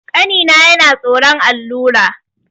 Ƙanina yana tsoron allura.